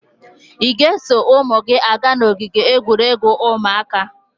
Ị ga-eso ụmụ gị aga n'ogige egwuregwu ụmụaka?